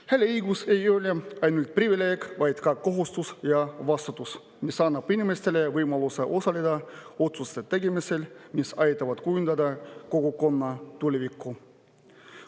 Hääleõigus ei ole ainult privileeg, vaid ka kohustus ja vastutus, mis annab inimestele võimaluse osaleda nende otsuste tegemisel, mis aitavad kujundada kogukonna tulevikku.